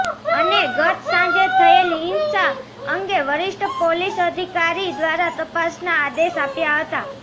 અને ગત સાંજે થયેલી હિંસા અંગે વરિષ્ઠ પોલીસ અધિકારી દ્રારા તપાસના આદેશ આપ્યા હતા